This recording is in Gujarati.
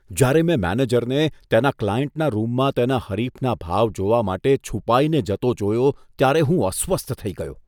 જ્યારે મેં મેનેજરને તેના ક્લાયન્ટના રૂમમાં તેના હરીફના ભાવ જોવા માટે છુપાઈને જતો જોયો ત્યારે હું અસ્વસ્થ થઈ ગયો.